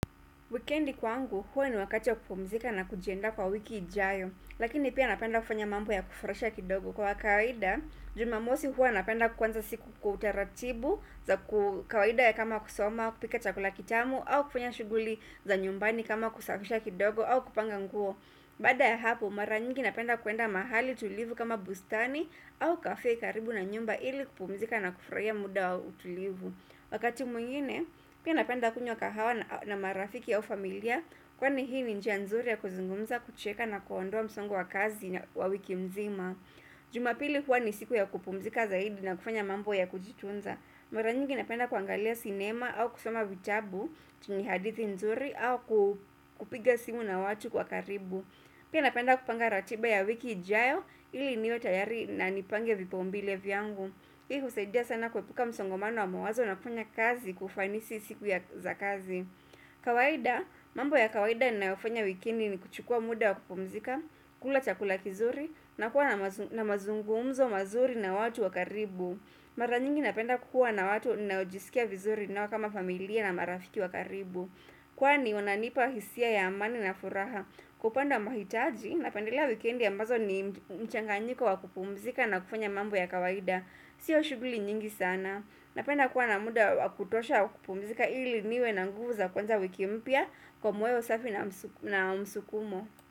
Wikiendi kwangu, huwa ni wakati wa kupumzika na kujianda kwa wiki ijayo, lakini pia napenda kufanya mambo ya kufurahisha kidogo kwa kawada. Jumamosi huwa napenda kwanza siku kwa taratibu za kawada ya kama kusoma, kupika chakula kitamu, au kufanya shuguli za nyumbani kama kusafisha kidogo au kupanga nguo. Baada ya hapo, mara nyingi napenda kuenda mahali tulivu kama bustani au kafe karibu na nyumba ili kupumzika na kufurahia muda wa utulivu. Wakati mwingine, pia napenda kunywa kahawa na marafiki au familia, kwani hii ni njia nzuri ya kuzungumza kucheka na kuondoa msongo wa kazi wa wiki nzima. Jumapili huwa ni siku ya kupumzika zaidi na kufanya mambo ya kujitunza. Mara nyingi napenda kuangalia sinema au kusoma vitabu, zenye hadithi nzuri au kupiga simu na watu wa karibu. Pia napenda kupanga ratiba ya wiki ijayo ili niwe tayari na nipange vipaumbele vyangu. Hii husaidia sana kuepuka msongomano wa mawazo na kufanya kazi kwa ufanisi siku za kazi. Kawaida, mambo ya kawaida ninaofanya wikiendi ni kuchukua muda wa kupumzika, kula chakula kizuri, na kuwa na mazungumzo mazuri na watu wa karibu. Maranyingi napenda kuwa na watu ninaojisikia vizuri ni kama familia na marafiki wa karibu. Kwani, wananipa hisia ya amani na furaha. Kupanga mahitaji napendelea wikiendi ambazo ni mchanganyiko wa kupumzika na kufanya mambo ya kawaida. Sio shughuli nyingi sana. Napenda kuwa na muda wakutosha wakupumizika ili niwe na nguvu za kuanza wiki mpya kwa moyo safi na msukumo.